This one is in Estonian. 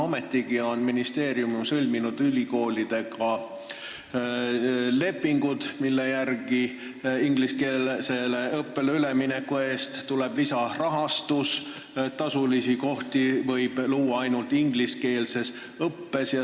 Ometigi on ministeerium sõlminud ülikoolidega lepingud, mille järgi ingliskeelsele õppele ülemineku eest tuleb lisarahastus ja tasulisi kohti võib luua ainult ingliskeelses õppes.